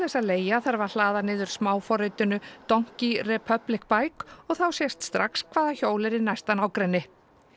að leigja þarf að hlaða niður smáforritinu Donkey republic og þá sést strax hvað hjól er í næsta nágrenni